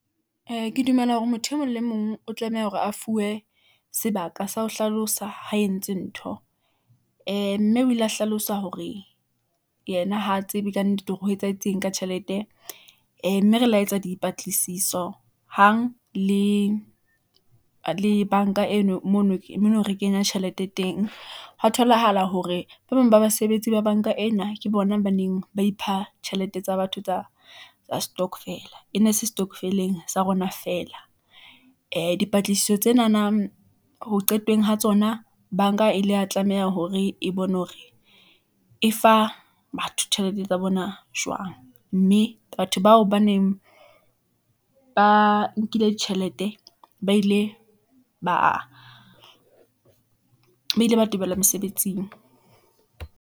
Ee, ke dumela hore motho e mong le mong o tlameha hore a fuwe , sebaka sa ho hlalosa ha entse ntho , ee mme o ile a hlalosa hore yena ha tsebe kannete hore ho etsahetseng ka tjhelete , ee mme re lo etsa dipatlisiso hang le bank-a eno mono re kenya tjhelete teng . Hwa tholahala hore ba bang ba basebetsi ba bank-a ena, ke bona hobaneng ba ipha tjhelete tsa batho tsa stockvel-a. E ne se setokofeleng sa rona feela , dipatlisiso tsenana ho qetong ho tsona. Bank-a ile ya tlameha hore e bone hore e fa batho tjhelete tsa bona jwang, mme batho bao ba neng ba nkile tjhelete, ba ile ba tebelwa mesebetsing.